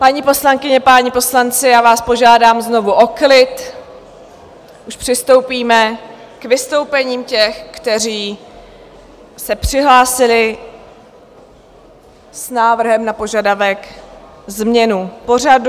Paní poslankyně, páni poslanci, já vás požádám znovu o klid, už přistoupíme k vystoupením těch, kteří se přihlásili s návrhem na požadavek změn pořadu.